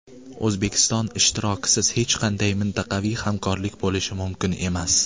O‘zbekiston ishtirokisiz hech qanday mintaqaviy hamkorlik bo‘lishi mumkin emas.